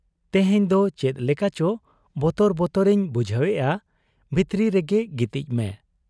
ᱛᱮᱦᱮᱧ ᱫᱚ ᱪᱮᱫ ᱞᱮᱠᱟᱪᱚ ᱵᱚᱛᱚᱨ ᱵᱚᱛᱚᱨ ᱤᱧ ᱵᱩᱡᱷᱟᱹᱣᱮᱜ ᱟ ᱾ ᱵᱷᱤᱛᱨᱤ ᱨᱮᱜᱮ ᱜᱤᱛᱤᱡ ᱢᱮ